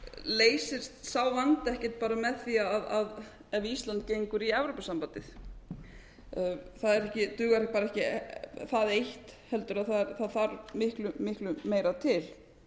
leysist vandi ekkert bara með því ef ísland gengur í evrópusambandið það dugar bara ekki það eitt heldur þarf miklu miklu meira til